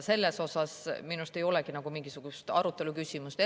Selles minu arust ei olegi nagu mingisugust arutelu või küsimust.